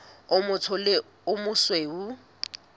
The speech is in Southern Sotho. o motsho le o mosweu